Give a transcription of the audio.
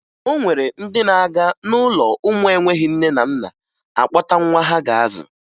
O nwere ndị na-aga n'ụlọ ụmụ enweghi nne na nna akpọta nwa ha ga-azụ